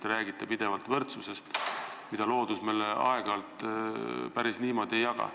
Te räägite pidevalt võrdsusest, mida loodus aeg-ajalt meile päris niimoodi ei jaga.